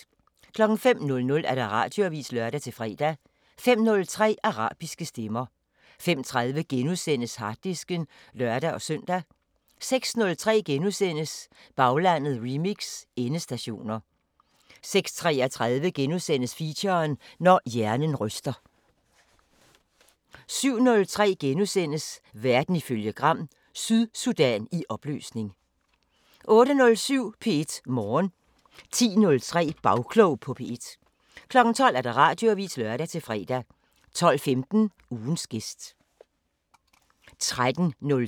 05:00: Radioavisen (lør-fre) 05:03: Arabiske Stemmer 05:30: Harddisken *(lør-søn) 06:03: Baglandet remix: Endestationer * 06:33: Feature: Når hjernen ryster * 07:03: Verden ifølge Gram: Sydsudan i opløsning * 08:07: P1 Morgen 10:03: Bagklog på P1 12:00: Radioavisen (lør-fre) 12:15: Ugens gæst